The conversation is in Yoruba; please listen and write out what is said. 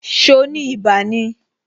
So ni ibà ni?